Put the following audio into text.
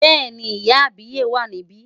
Bẹ́ẹ̀ni, ìyá àbíyè wà níbí.